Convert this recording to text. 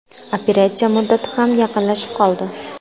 Operatsiya muddati ham yaqinlashib qoldi.